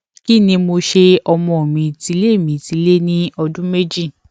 kí ni mo ṣe ọmọ mi ti lé mi ti lé ní ọdún méjì